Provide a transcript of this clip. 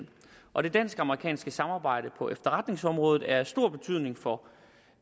og det dansk amerikanske samarbejde på efterretningsområdet er af stor betydning for